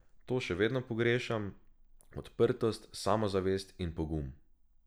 To še vedno pogrešam, odprtost, samozavest in pogum.